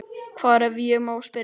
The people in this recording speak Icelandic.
Hvar, ef ég má spyrja?